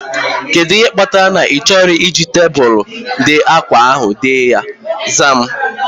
Kedụ ihe kpatara na ị chọghị iji tebụlu ide ákwá ahu dee ya? Zaa m